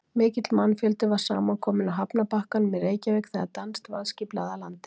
Mikill mannfjöldi var saman kominn á hafnarbakkanum í Reykjavík þegar danskt varðskip lagði að landi.